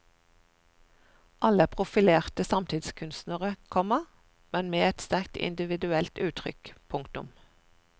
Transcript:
Alle er profilerte samtidskunstnere, komma men med et sterkt individuelt uttrykk. punktum